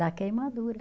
Da queimadura.